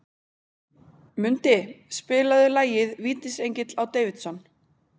Mundi, spilaðu lagið „Vítisengill á Davidson“.